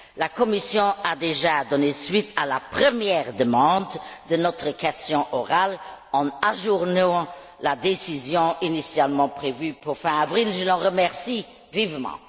La Commission a déjà donné suite à la première demande de notre question orale en ajournant la décision initialement prévue pour fin avril, ce dont je la remercie vivement.